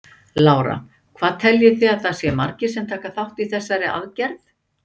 Lára: Hvað teljið þið að það séu margir sem taka þátt í þessari aðgerð?